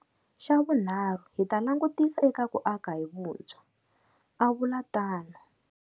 Xavunharhu, hi ta langutisa eka ku aka hi vuntshwa, a vula tano.